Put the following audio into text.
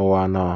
Ụwa nọ